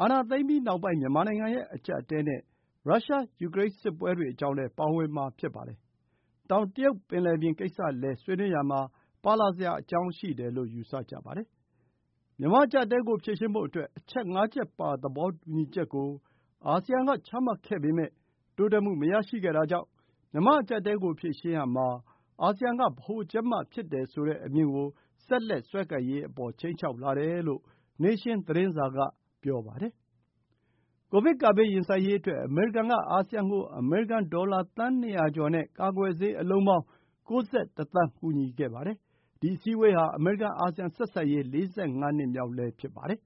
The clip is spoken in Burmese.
အာဏာသိမ်းပြီး နောက်ပိုင်း မြန်မာနိုင်ငံရဲ့ အကျပ်အတည်းနဲ့ ရုရှား-ယူကရိန်း စစ်ပွဲတွေ အကြောင်းလည်း ပါဝင်မှာ ဖြစ်ပါတယ်။ တောင်တရုတ်ပင်လယ်ပြင်ကိစ္စလည်း ဆွေးနွေးပွဲမှာ ပါလာစရာအကြောင်းရှိတယ်လို့ ယူဆကြပါတယ်။ မြန်မာ့အကျပ်အတည်းကို ဖြေရှင်းဖို့အတွက် အချက် ၅ ချက်ပါ သဘောတူညီချက်ကို အာဆီယံက ချမှတ်ခဲ့ပေမဲ့ တိုးတက်မှု မရရှိခဲ့တာကြောင့် မြန်မာ့အကျပ်အတည်းကို ဖြေရှင်းရာမှာ အာဆီယံက ဗဟိုချက်မဖြစ်တယ်ဆိုတဲ့ အမြင်ကို ဆက်လက်စွဲကိုင်ရေး အပေါ် ခြိမ်းခြောက်လာတယ်လို့ Tha Nation သတင်းစာက ပြောပါတယ်။ ကိုဗစ်ကပ်ဘေး ရင်ဆိုင်ရေးအတွက် အမေရိကန်က အာဆီယံကို အမေရိကန်ဒေါ်လာ သန်း ၂၀၀ ကျော်နဲ့ ကာကွယ်ဆေးအလုံးပေါင်း ၉၁ သန်း ကူညီခဲ့ပါတယ်။ ဒီအစည်းအဝေးဟာ အမေရိကန်-အာဆီယံ ဆက်ဆံရေး ၄၅ နှစ်မြောက်လည်း ဖြစ်ပါတယ်။